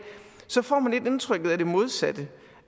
får man lidt indtrykket af det modsatte